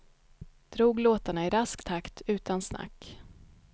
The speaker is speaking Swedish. Drog låtarna i rask takt utan snack.